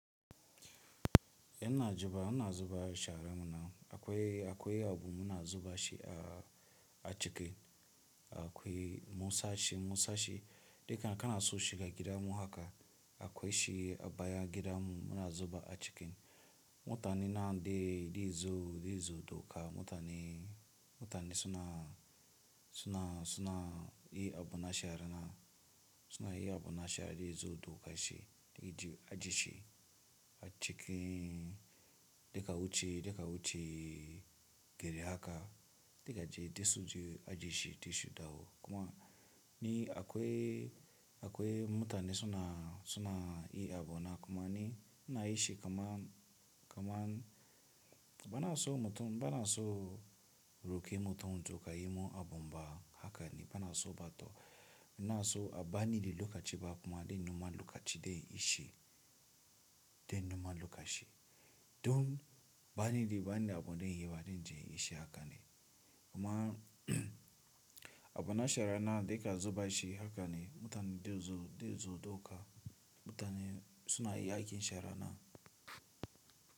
Ina zuba, ina zuba sharana. Akwai, akwai abu muna zuba shi a, a cikin. Akwai musashi, musashi. Kam kana so shiga gidan mu haka akwai shi a bayan gidan mu muna zuba a cikin. Mutane na de, de zo, de zo dauka. Mutane, mutane suna, suna, suna yi abu na sharana. Suna yi abu na shara de zo doka shi, aje shi a cikin. Daga wuce, daga wuce gari haka, daga ji da su ji aji shi tashi dau. Kuma ni akwai, akwai mutane suna, suna yi abu na. Kuma ni ina yin shi kaman, kaman bana so mutum, bana so roki mutum zo ƙayi mun abu ba haka ne. Bana so bata. Ina so a bani lokaci ci ba kuma de numa lokaci de yi shi, de numa lokaci. Don bani liluka abun de yi ba de jin yi shi haka ne. Kuma abu na sharana daga zuba shi haka ne mutane de zo, de zo doka. Mutane suna yi aikin sharana.